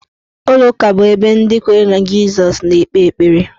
Ụlọụka bụ ebe ndị kwere na Jisọs na-ekpe ekpere.